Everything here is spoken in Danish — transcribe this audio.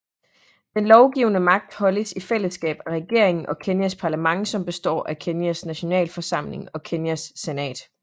Den lovgivende magt holdes i fællesskab af regeringen og Kenyas parlament som består af Kenyas Nationalforsamling og Kenyas senat